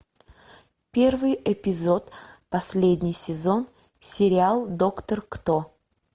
первый эпизод последний сезон сериал доктор кто